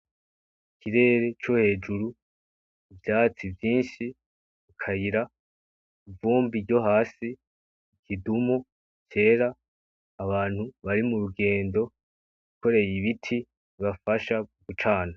Ikirere co hejuru, ivyatsi vyinshi, akayira, ivumbi ryo hasi, ikidumu cera, abantu bari mu rugendo bikoreye ibiti bibafasha gucana.